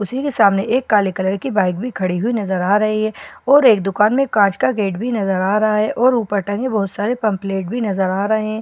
उसी के सामने एक काले कलर की बाइक भी खड़ी हुई नजर आ रही है और एक दुकान में कांच का गेट भी नजर आ रहा है और ऊपर टंगे बहुत सारे पंपलेट भी नजर आ रहें--